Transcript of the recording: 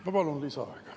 Ma palun lisaaega.